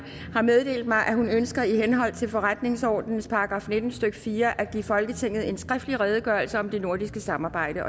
har meddelt mig at hun ønsker i henhold til forretningsordenens § nitten stykke fire at give folketinget en skriftlig redegørelse om det nordiske samarbejde